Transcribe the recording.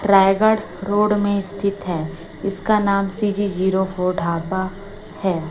Raigarh road में स्थित हैं इसका नाम सी_जी जीरो फोर ढाबा है।